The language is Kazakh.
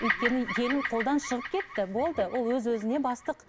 өйткені келін қолдан шығып кетті болды ол өзіне өзі бастық